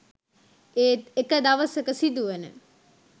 ඒත් එක දවසක සිදුවන